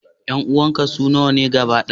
Ƴan uwanka su nawa ne gaba ɗaya?